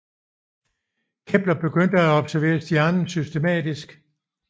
Kepler begyndte at observere stjernen systematisk